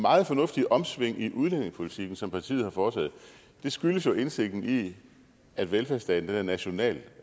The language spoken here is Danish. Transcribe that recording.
meget fornuftige omsving i udlændingepolitikken som partiet har foretaget skyldes jo indsigten i at velfærdsstaten er national